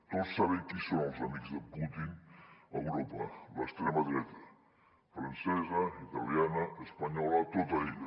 tots sabem qui són els amics de putin a europa l’extrema dreta francesa italiana espa·nyola tota ella